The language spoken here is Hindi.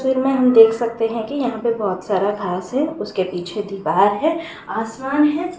पिक्चर में हम देख सकते हैं की यहाँ पे बहुत सारा घांस है उसके पीछे दीवार है आसमान है।